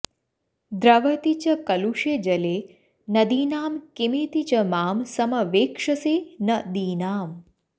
द्रवति च कलुषे जले नदीनां किमिति च मां समवेक्षसे न दीनाम्